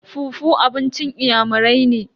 fufu abincin inyamurai ne.